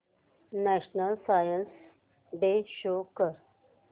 national science day show कर